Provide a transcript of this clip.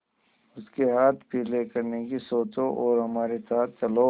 उसके हाथ पीले करने की सोचो और हमारे साथ चलो